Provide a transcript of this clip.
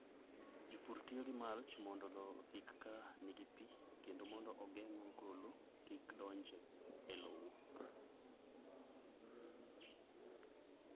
Jopur tiyo gi mulch mondo lowo osik ka nigi pi kendo mondo ogeng'o ogolo kik donj e lowo.